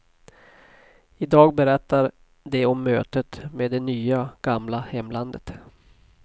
I dag berättar de om mötet med det nya, gamla hemlandet.